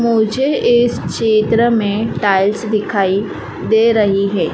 मुझे इस चित्र में टाइल्स दिखाई दे रही हैं।